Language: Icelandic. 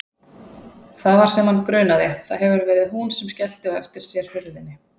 Það var sem hann grunaði, það hefur verið hún sem skellti á eftir sér hurðinni.